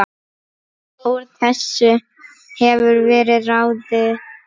Úr þessu hefur verið ráðið